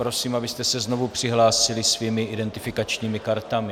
Prosím, abyste se znovu přihlásili svými identifikačními kartami.